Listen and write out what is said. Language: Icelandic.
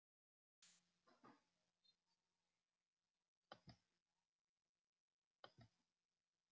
Ég ætla að vera í Skotlandi í marga daga, jafnvel í margar vikur.